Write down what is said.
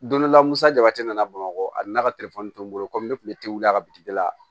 Don dɔ la musa jabati nana bamakɔ ani n ka bolo komi ne kun bɛ tewu a ka la